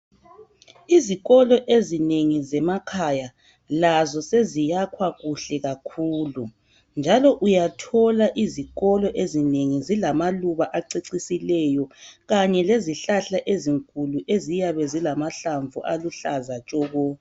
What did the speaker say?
Izikolo ezinengi zemakhaya lazo zesiyakhwa kuhle kakhulu, njalo uyathola izikolo ezinengi zilamaluba acecisileyo kanye lezihlahla ezinkulu eziyabe zilamahlamvu aluhlaza tshoko.